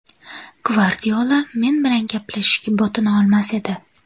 Gvardiola men bilan gaplashishga botina olmas edi.